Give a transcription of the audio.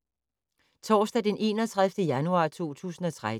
Torsdag d. 31. januar 2013